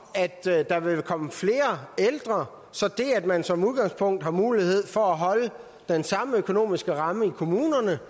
at der vil komme flere ældre så det at man som udgangspunkt har mulighed for at holde den samme økonomiske ramme i kommunerne